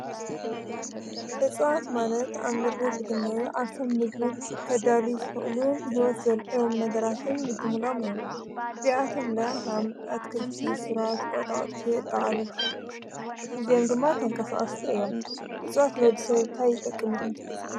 እፁዓት ማለት ኣብ ምድሪ ዝግነዩ ኣብ ሰብምግብ ከዳል ዘሉን ሕይወት ዘልዕም ነገራትን ብምሎም እዮም። እዚኣቶምለያ ሃምኣት ክርቲ ሥራት ወጣቱ ጥዓል እዜም ድማ ተንቀሳዓስቲ እዮም ።እጽዋት ሎዲ ሰብታይ ጠቅ ሚ ኢሉም ተሓስብ?